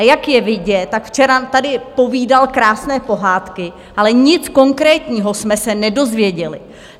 A jak je vidět, tak včera tady povídal krásné pohádky, ale nic konkrétního jsme se nedozvěděli.